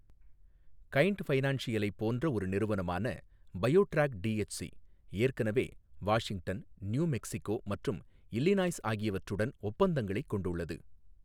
Kind ஃபைனான்சியல்லைப் போன்ற ஒரு நிறுவனமான பயோ ட்ராக் டிஹெச்சி, ஏற்கனவே வாஷிங்டன், நியூ மெக்ஸிகோ மற்றும் இல்லினாய்ஸ் ஆகியவற்றுடன் ஒப்பந்தங்களைக் கொண்டுள்ளது.